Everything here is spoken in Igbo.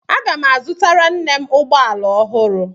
Aga m azụtara nne m ụgbọala ọhụrụ.